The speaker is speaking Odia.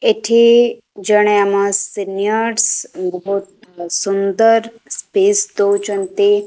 ଏଠି ଜଣେ ଆମର ସିନିଅର୍ସ ବହୁତ ସୁନ୍ଦର ସ୍ପିଚ ଦଉଚନ୍ତି।